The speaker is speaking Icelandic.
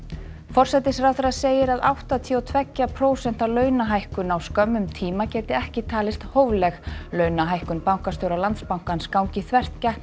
forsætisráðherra segir að áttatíu og tveggja prósenta launahækkun á skömmum tíma geti ekki talist hófleg launahækkun bankastjóra Landsbankans gangi þvert gegn